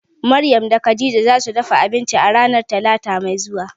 Maryam da Khadijah zasu dafa abinci ranan talata mai zuwa.